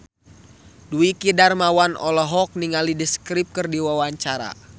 Dwiki Darmawan olohok ningali The Script keur diwawancara